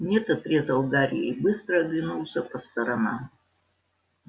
нет отрезал гарри и быстро оглянулся по сторонам